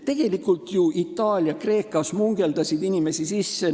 Tegelikult ju Itaalia ja Kreeka smugeldasid inimesi sisse.